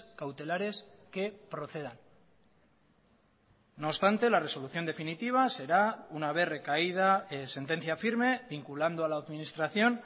cautelares que procedan no obstante la resolución definitiva será una vez recaída sentencia firme vinculando a la administración